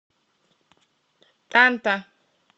танта